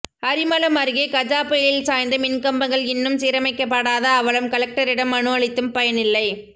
அரிமளம் அருகே கஜா புயலில் சாய்ந்த மின்கம்பங்கள் இன்னும் சீரமைக்கப்படாத அவலம் கலெக்டரிடம் மனு அளித்தும் பயனில்லை